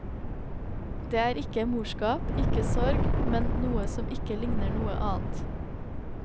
Det er ikke morskap, ikke sorg, men noe som ikke ligner noe annet.